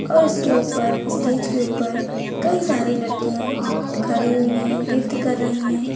और इसके ऊपर स्टेज के ऊपर कई सारी लड़कियां खड़ी हुई हैं नृत्य कर रही हैं।